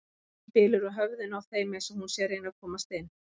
Rigningin bylur á höfðinu á þeim eins og hún sé að reyna að komast inn.